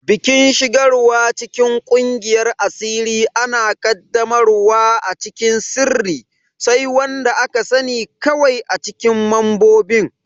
Bikin shigarwa cikin kungiyar asiri ana qaddamarwa a cikin sirri, sai wanda aka sani kawai acikin membobin.